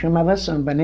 Chamava samba, né?